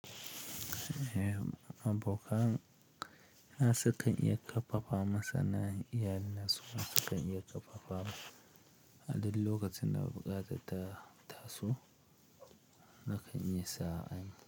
Eh abokan na su kan iya ƙarfafa man sannan iyalin na su, ma su kan iya ƙarfafawa. Aduk lokacin da buƙatar ta taso nakan iya sa an yi.